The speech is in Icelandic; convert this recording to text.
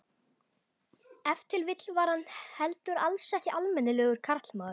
Ef til vill var hann heldur alls ekki almennilegur karlmaður.